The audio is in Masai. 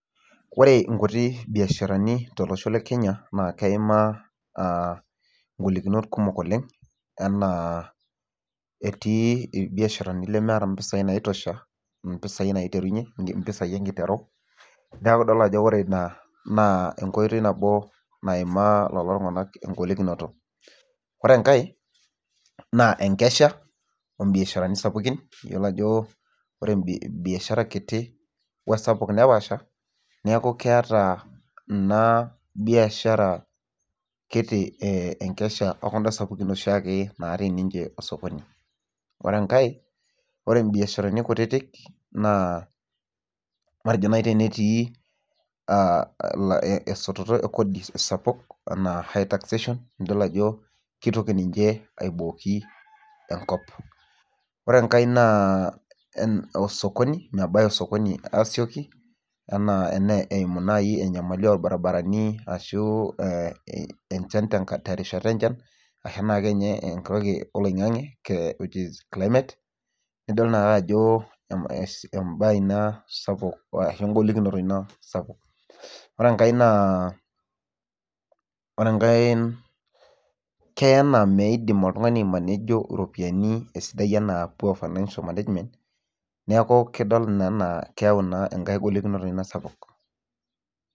Ore inkuti biasharani tolosho le Kenya naa keimaa ingolikinot kumok oleng enaa etii irbiasharani lemeeta impisai naitosha, mpisai naiterunye, mpisai enkiteru. Neeku idol ajo ore ina naa enkoitoi nabo naimaa lelo tung'anak engolikinoto. Ore enkae naa enkesha oombiasharani sapukin. Iyiolo ajo ore biashara kiti wesapuk nepaasha newku keeta ina biashara kiti enkesha ekunda sapukin naatii oshiake ninche osokoni. Ore enkae, ore imbiasharani kutiti naa matejo naai tenetii esototo e kodi sapuk enaa high taxation nidol ajo kitoki abooki ninche enkop. Ore enkae naa osokoni, mebaya osokoni aasioki enaa eimu naai enyamali orbaribarani ashu enchan terishata enchan ashu ake ninye enkutuk oloing'ang'e which is climate. Nidol naake ajo embae ina sapuk ashu engolikinoto ina sapuk. Ore enkae naa, ore enkae keya naa meidim oltung'ani aimanejo iropiyiani esidai enaa poor financial management neeku kidol ina enaa keyau ina enkae golikinoto ina sapuk